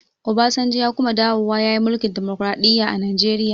Obasanjo ya kuma dawowa ya yi mulkin dimokraɗiya a najeriya